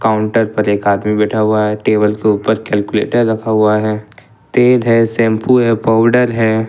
Counter पर एक आदमी बैठा हुआ है टेबल के ऊपर कैलकुलेटर रखा हुआ है तेल है शैंपू है पाउडर है।